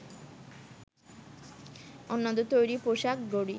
অন্যদের তৈরি পোশাক, ঘড়ি